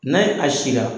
N'a ye a sira